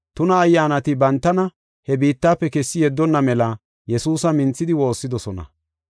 Tuna ayyaanati bantana he biittafe kessi yeddonna mela Yesuusa minthidi woossidosona.